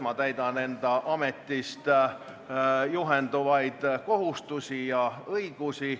Ma täidan enda ametist tulenevad kohustusi ja õigusi.